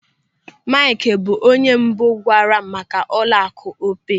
Maịkị bụ onye mbụ gwaara m maka ụlọaku Opay.